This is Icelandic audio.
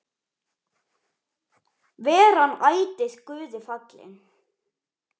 Veri hann ætíð Guði falinn.